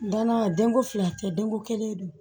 Danna denko fila tɛ denko kelen don